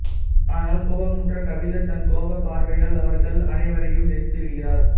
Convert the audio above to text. அதனால் கோபமுற்ற கபிலர் தன் கோபப் பார்வையால் அவர்கள் அனைவரியைம் எரித்து விடுகிறார்